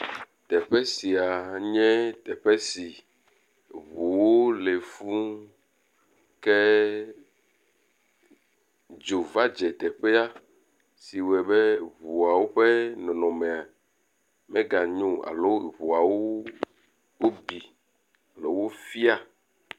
Teƒe sia nye teƒe si ŋuwo le fuu ke dzo va dze teƒea si wɔe be ŋuawo ƒe nɔnɔmea mega nyo o alo ŋuawo wobi ɖewo fia.